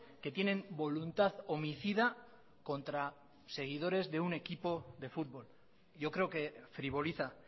que tienen voluntad homicida contra seguidores de un equipo de fútbol yo creo que frivoliza